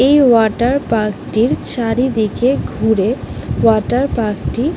এই water park টির চারিদিকে ঘুরে ওয়াটার পার্ক টি --